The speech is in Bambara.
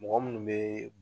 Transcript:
Mɔgɔ minnu bɛ